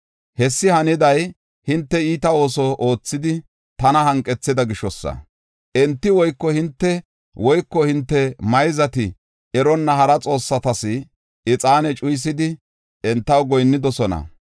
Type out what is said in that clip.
Hessi haniday, enti iita ooso oothidi, tana hanqethida gishosa. Enti woyko hinte woyko hinte mayzati eronna hara xoossatas ixaane cuyisidi entaw goyinnidosona.